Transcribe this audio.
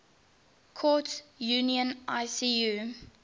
courts union icu